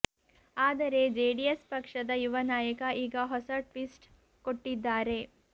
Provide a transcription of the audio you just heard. ಆದರೆ ಜೆಡಿಎಸ್ ಪಕ್ಷದ ಯುವ ನಾಯಕ ಈಗ ಹೊಸ ಟ್ವಿಸ್ಟ್ ಕೊಟ್ಟಿದ್ದಾರೆ